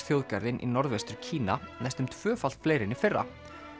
þjóðgarðinn í Norðvestur Kína næstum tvöfalt fleiri en í fyrra